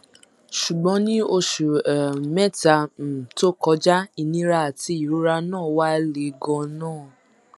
ṣùgbọn ní oṣù um mẹta um tó kọjá ìnira àti ìrora náà wá le ganan